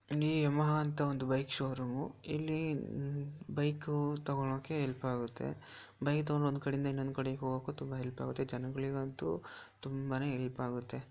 ಇದು ಯಮಹಾ ಅಂತ bike showroom ಇಲ್ಲಿ ಬೈಕ್ ತೊಗೋಳಕ್ಕೆ ಹೆಲ್ಪ್ ಆಗುತ್ತೆ ಬೈಕ್ ತಗೊಂಡು ಒಂದು ಕಡೆಯಿಂದ ಇನ್ನೊಂದು ಕಡೆ ಹೋಗೋಕೆ ತುಂಬಾ ಹೆಲ್ಪ್ ಆಗುತ್ತೆ ಜನರಿಗಂತು ತುಂಬಾನೆ ಹೆಲ್ಪ್ ಆಗುತ್ತೆ.